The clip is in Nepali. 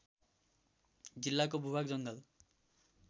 जिल्लाको भूभाग जङ्गल